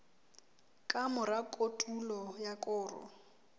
ka mora kotulo ya koro